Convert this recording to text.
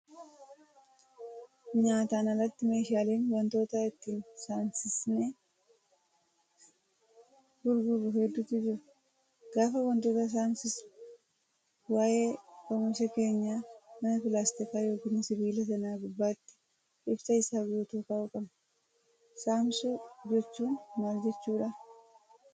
Nyaataan alatti meeshaaleen wantoota ittiin saamsinee gurgurru hedduutu jiru. Gaafa wantoota saamsinu waayee oomisha keenyaa sana pilaastika yookaan sibiila sana gubbaatti ibsa isaa guutuu kaa'uu qabna. Saamsuu jechuun maal jechuudhaa?